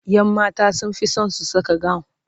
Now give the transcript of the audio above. ƴan mata sunfi San su Saka gawun